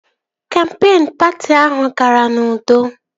Kampeen patị ahụ gara n'udo